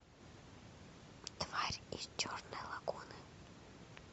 тварь из черной лагуны